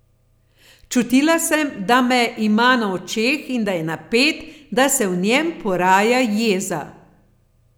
Čutila sem, da me ima na očeh in da je napet, da se v njem poraja jeza.